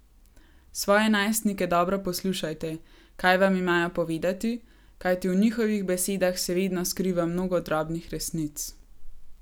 Svoje najstnike dobro poslušajte, kaj vam imajo povedati, kajti v njihovih besedah se vedno skriva mnogo drobnih resnic.